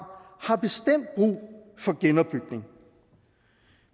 har bestemt brug for genopbygning